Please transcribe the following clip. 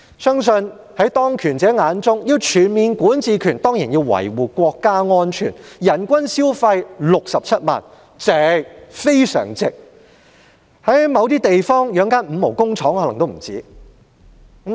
相信在當權者眼中，要擁有全面管治權便當然要維護國家安全，人均消費67萬元是非常值得，因為在某些地方，要養活一間"五毛"工廠可能也不止此數。